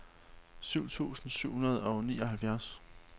tyve tusind syv hundrede og nioghalvfjerds